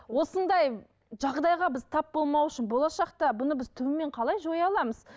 осындай жағдайға біз тап болмау үшін болашақта бұны біз түбімен қалай жоя аламыз